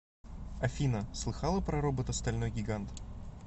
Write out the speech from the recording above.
афина слыхала про робота стальной гигант